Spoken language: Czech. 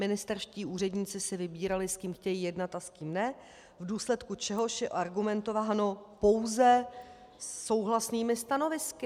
Ministerští úředníci si vybírali, s kým chtějí jednat a s kým ne, v důsledku čehož je argumentováno pouze souhlasnými stanovisky.